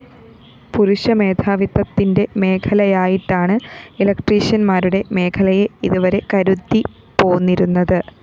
പുരുഷമേധാവിത്തത്തിന്റെ മേഖലയായിട്ടാണ് ഇലക്ട്രീഷ്യന്‍മാരുടെ മേഖലയെ ഇതുവരെ കരുതിപ്പോന്നിരുന്നത്